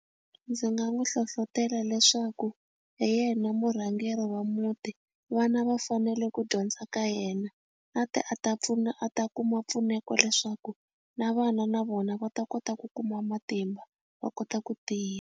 Ndzi nga n'wu hlohlotela leswaku hi yena murhangeri wa muti vana va fanele ku dyondza ka yena a ti a ta pfuna a ta kuma mpfuneko leswaku na vana na vona va ta kota ku kuma matimba va kota ku tiya.